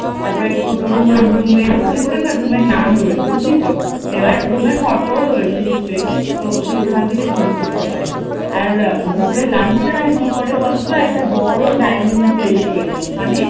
তারপর ছোট বউয়ের রুম এরকম করে না রুম এর নাম রয়েছে বুঝলি তো এবার রুমের ফটোও রয়েছে নিশ্চয়ই, তো তুই ওখান থেকে চুস করতে পারবি, আর দুপুরের লাঞ্চ টা না কি করে বলতো? একটা বড়ো ডাইনিং প্লেস রয়েছে ওখানে